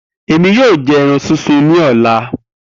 Emi yoo jẹ ẹran sisun ni ọla